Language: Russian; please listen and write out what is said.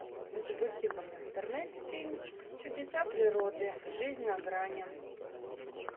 запусти ка мне в интернете фильм чудеса природы жизнь на грани